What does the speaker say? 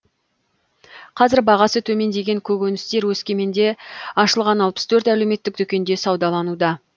қазір бағасы төмендеген көкөністер өскеменде ашылған алпыс төрт әлеуметтік дүкенде саудалануда